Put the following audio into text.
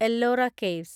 Ellora caves